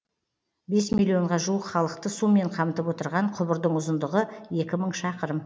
бес миллионға жуық халықты сумен қамтып отырған құбырдың ұзындығы екі мың шақырым